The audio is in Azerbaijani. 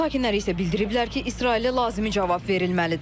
İran sakinləri isə bildiriblər ki, İsrailə lazımi cavab verilməlidir.